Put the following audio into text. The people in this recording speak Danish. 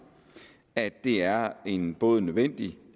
at det er en både nødvendig